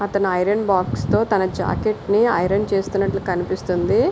అతను ఐరన్ బాక్స్ తో తన జాకెట్ ని ఐరన్ చేస్తున్నట్టు ఉంది.